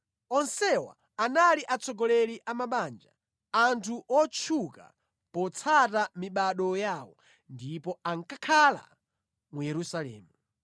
Onsewa anali atsogoleri a mabanja, anthu otchuka potsata mibado yawo, ndipo ankakhala mu Yerusalemu.